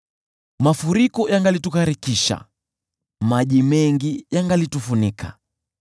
mafuriko yangalitugharikisha, maji mengi yangalitufunika,